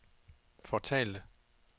fortalte